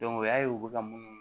o y'a ye u bɛ ka munnu